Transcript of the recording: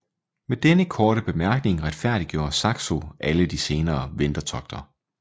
Med denne korte bemærkning retfærdiggjorde Saxo alle de senere vendertogter